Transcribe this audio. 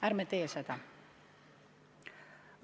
Ärme teeme seda!